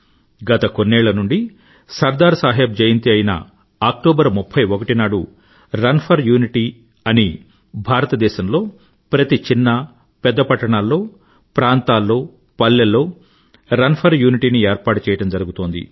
గత కొన్నేళ్ళ నుండీ సర్దార్ సాహెబ్ జయంతి అయిన అక్టోబర్ 31 నాడు రన్ ఫర్ యూనిటీ అని భారతదేశంలో ప్రతి చిన్న పెద్ద పట్టణాల్లో ప్రాంతాల్లో పల్లెల్లో రన్ ఫర్ యూనిటీ ఏర్పాటుచేయడం జరుగుతోంది